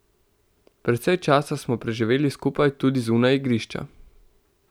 Precej časa smo preživeli skupaj tudi zunaj igrišča.